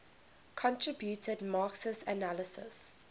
contributed marxist analyses